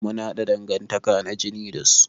Mun haɗa dangantaka na jini da su.